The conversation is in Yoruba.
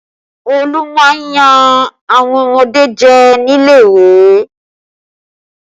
Olu máa ń yan àwọn ọmọdé jẹ nílé ìwé